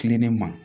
Kilennen ma